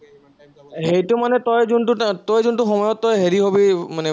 সেইটো মানে তই যোনটো, তই যোনটো সময়ত তই হেৰি হবি মানে